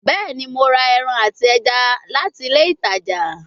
Bẹẹni, Mo ra ẹran ati ẹja lati ile itaja